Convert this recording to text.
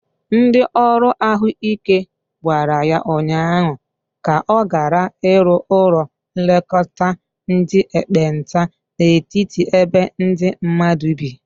Ndi ọrụ ahụ ike gwara ya ụnyaahụ ka ọ gara iru ụlọ nlekota ndi ekpenta n'etiti ebe ndi mmadu bi.